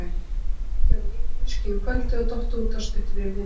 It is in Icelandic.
Hann hafði drukkið of mikið viskí um kvöldið og dottið út af stuttu fyrir miðnætti.